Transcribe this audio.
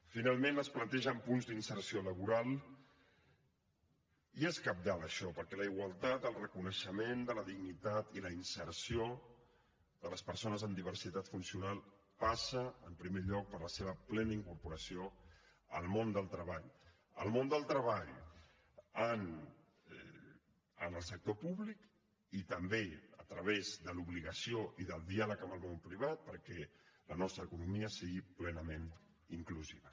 finalment es plantegen punts d’inserció laboral i és cabdal això perquè la igualtat el reconeixement de la dignitat i la inserció de les persones amb diversitat funcional passa en primer lloc per la seva plena incorporació al món del treball al món del treball en el sector públic i també a través de l’obligació i del diàleg amb el món privat perquè la nostra economia sigui plenament inclusiva